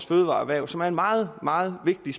fødevareerhvervet som er en meget meget vigtig